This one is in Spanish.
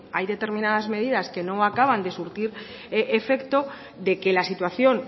hay determinadas medidas que no acaban de surtir efecto de que la situación